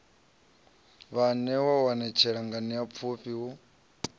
vhaanewa u anetshela nganeapfhufhi hu